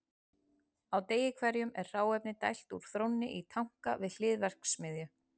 á degi hverjum er hráefni dælt úr þrónni í tanka við hlið verksmiðju